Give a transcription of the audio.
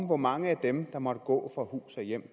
hvor mange af dem der måtte gå fra hus og hjem